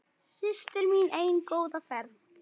Systir mín ein, góða ferð.